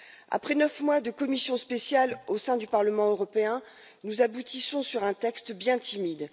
Après neuf mois de commission spéciale au sein du Parlement européen, nous aboutissons à un texte bien timide.